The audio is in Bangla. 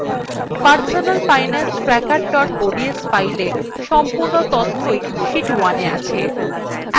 personalfinancetracker ods file সম্পূর্ণ তথ্যই sheet 1এ আছে